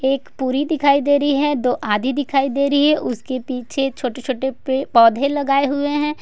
एक पूरी दिखाई दे रही है दो आधी दिखाई दे रही है उसके पीछे छोटे-छोटे पे पौधे लगाए हुए हैं।